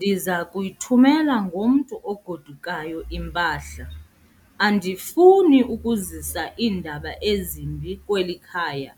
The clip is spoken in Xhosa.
Ndiza kuyithumela ngomntu ogodukayo impahla. andifuni ukuzisa iindaba ezimbi kweli khaya,